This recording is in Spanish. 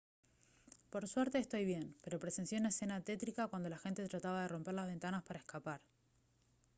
por suerte estoy bien pero presencié una escena tétrica cuando la gente trataba de romper las ventanas para escapar